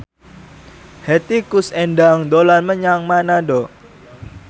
Hetty Koes Endang dolan menyang Manado